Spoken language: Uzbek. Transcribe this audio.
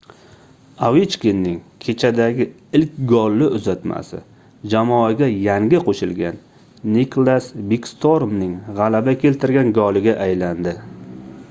ovechkinning kechadagi ilk golli uzatmasi jamoaga yangi qoʻshilgan niklas bekstormning gʻalaba keltirgan goliga aylandi